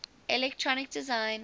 electronic design